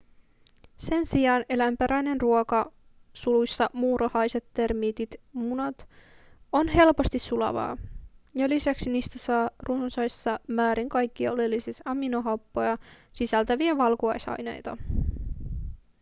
sen sijaan eläinperäinen ruoka muurahaiset termiitit munat on helposti sulavaa ja lisäksi niistä saa runsaissa määrin kaikkia oleellisia aminohappoja sisältäviä valkuaisaineita